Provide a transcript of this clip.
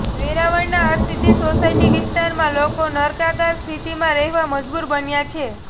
વેરાવળના Harsiddhi society વિસ્તારમાં લોકો નર્કાગાર સ્થિતિમાં રહેવા મજબૂર બન્યા છે